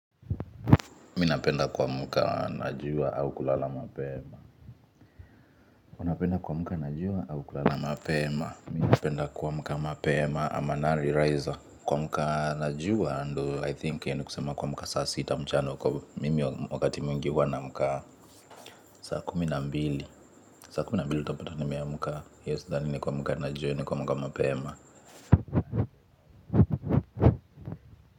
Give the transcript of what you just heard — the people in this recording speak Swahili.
Mi napenda kuamka na jua au kulala mapema. Mi napenda kuamka na jua au kulala mapema. Mi napenda kuamka mapema I'm an early riser. Kuamka najua ndo I think hiyo ni kusema kuamka saa sita mchana huko mimi wakati mwingi huwa naamka. Saa kumi na mbili saa kumi na mbili utapata nimeamka. Hiyo sidhani ni kuamka na jua ni kuamka mapema.